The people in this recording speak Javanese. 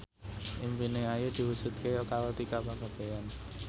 impine Ayu diwujudke karo Tika Pangabean